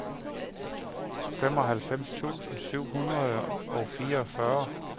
halvfems tusind syv hundrede og fireogfyrre